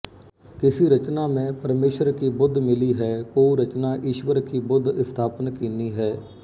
ਕਿਸੀ ਰਚਨਾ ਮਹਿੰ ਪਰਮੇਸ਼ਰ ਕੀ ਬੁਧਿ ਮਿਲੀ ਹੈਕੋਊ ਰਚਨਾ ਈਸਵਰ ਕੀ ਬੁਧਿ ਇਸਥਾਪਨ ਕੀਨੀ ਹੈ